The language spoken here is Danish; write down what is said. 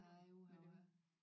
Nej uha